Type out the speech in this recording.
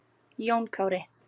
Jón Kári.